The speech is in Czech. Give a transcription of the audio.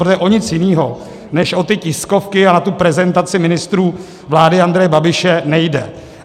Protože o nic jiného než o ty tiskovky a o tu prezentaci ministrů vlády Andreje Babiše nejde.